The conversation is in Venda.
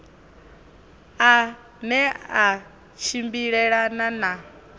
a ne a tshimbilelana na